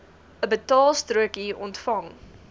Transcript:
n betaalstrokie ontvang